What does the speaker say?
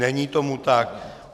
Není tomu tak.